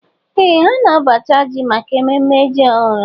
Ee ha na-abacha ji maka ememme ji ọhụrụ